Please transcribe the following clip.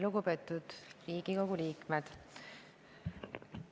Lugupeetud Riigikogu liikmed!